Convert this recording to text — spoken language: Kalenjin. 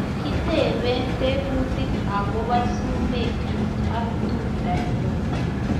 Kitepee teputik akopoo sumeek chuuk ak tumdoo nyuun